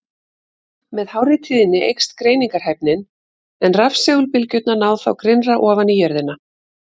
Með hárri tíðni eykst greiningarhæfnin, en rafsegulbylgjurnar ná þá grynnra ofan í jörðina.